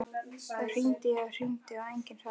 Það hringdi og hringdi en enginn svaraði.